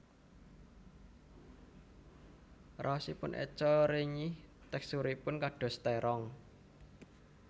Raosipun eco renyih teksturipun kados terong